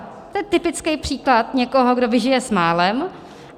To je typický příklad někoho, kdo vyžije s málem.